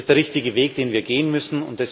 Das ist der richtige Weg, den wir gehen müssen.